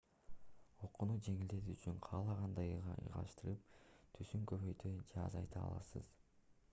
окууну жеңилдетүү үчүн каалагандай ыңгайлаштырып түсүн көбөйтө же азайта аласыз